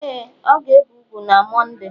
ee, ọ ga-ebe úgwù na Mọnde